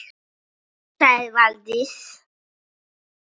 sagði Valdís